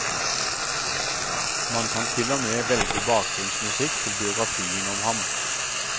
Man kan til og med velge bakgrunnsmusikk til biografien om ham.